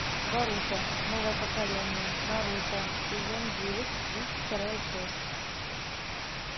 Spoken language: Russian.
боруто новое поколение наруто сезон девять тридцать вторая часть